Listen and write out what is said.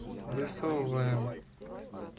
высовываем